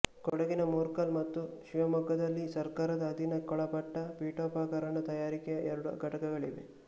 ಕೊಡಗಿನ ಮೂರ್ಕಲ್ ಮತ್ತು ಶಿವಮೊಗ್ಗದಲ್ಲಿ ಸರ್ಕಾರದ ಅಧೀನಕ್ಕೊಳಪಟ್ಟ ಪೀಠೋಪಕರಣ ತಯಾರಿಕೆಯ ಎರಡು ಘಟಕಗಳಿವೆ